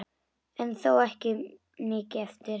En þó er mikið eftir.